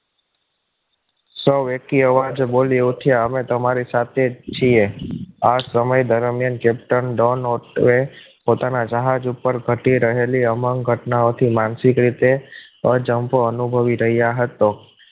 સૌ વ્યક્તિઓ એકી અવાજે બોલી ઉઠ્યા અમે તમારી સાથે જ છીએ આ સમય દરમિયાન captain ડોન પોતાના જહાજ ઉપર ટકી રહેલી અમંગ ઘટના માનસિક રીતે અજમ્બો અનુભવી રહ્યા હતા